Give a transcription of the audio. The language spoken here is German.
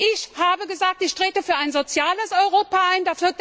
Ich habe gesagt Ich trete für ein soziales Europa ein.